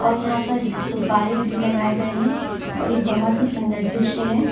और यहां पर गुब्बारे भी लगाए गए हैं और ये बहुत ही सुंदर दृश्य है ।